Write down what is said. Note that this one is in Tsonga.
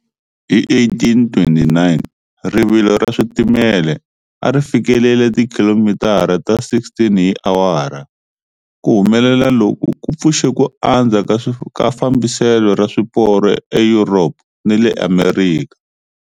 Hi 1829, rivilo ra switimela a ri fikelele tikhilomitara ta 16 hi awara. Ku humelela loku ku pfuxe ku andza ka fambiselo ra swiporo eYuropa ni le Amerika.